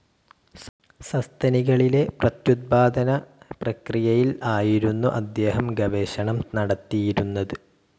സസ്തനികളിലെ പ്രത്യുത്പാദനപ്രക്രിയയിൽ ആയിരുന്നു അദ്ദേഹം ഗവേഷണം നടത്തിയിരുന്നത്.